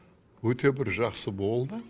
өте бір жақсы болды